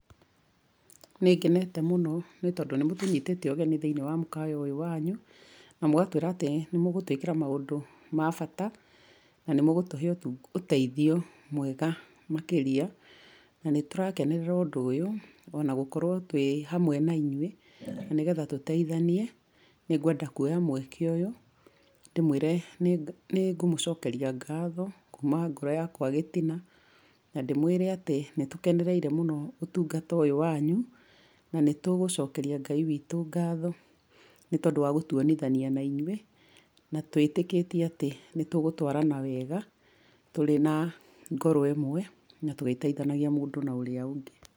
Nĩ ngenete mũno nĩ tondũ nĩ mũtũnyitĩte ũgeni thĩiniĩ wa mũkawa ũyũ wanyu, na mũgatwĩra atĩ nĩ mũgũtwĩkĩrwa maũndũ ma bata na nĩ mũgũtũhe ũteithio mwega makĩria na nĩ turakenerera ũndũ ũyũ, o na gũkorwo twĩ hamwe na inyuĩ, na nĩgetha tũteithanie. Nĩ ngwenda kũoya mweke ũyũ ndĩmwĩre nĩ ngũmũcokeria ngatho kuma ngoro yakwa gĩtina na ndĩmwĩre atĩ, nĩ tũkenereire mũno ũtungata ũyũ wanyu na nĩ tũgũcokeria Ngai witũ ngatho nĩ tondũ wa gũtuonithania na inyuĩ na twĩtĩkĩtie atĩ nĩ tũgũtwara wega tũrĩ na ngoro ĩmwe, na tũgĩteithanagia mũndũ na ũrĩa ũngĩ.